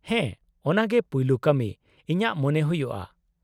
ᱦᱮᱸ, ᱚᱱᱟ ᱜᱮ ᱯᱩᱭᱞᱩ ᱠᱟᱹᱢᱤ, ᱤᱧᱟᱹᱜ ᱢᱚᱱᱮ ᱦᱩᱭᱩᱜᱼᱟ ᱾